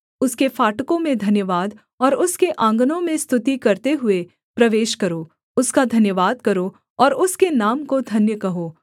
उसके फाटकों में धन्यवाद और उसके आँगनों में स्तुति करते हुए प्रवेश करो उसका धन्यवाद करो और उसके नाम को धन्य कहो